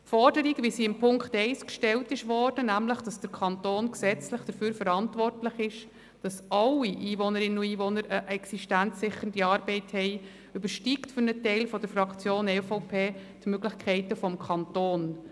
Die Forderung, wie sie in Punkt 1 gestellt wird, wonach nämlich der Kanton gesetzlich dafür verantwortlich ist, dass alle Einwohnerinnen und Einwohner eine existenzsichernde Arbeit haben, übersteigt für einen Teil der Fraktion EVP die Möglichkeiten des Kantons.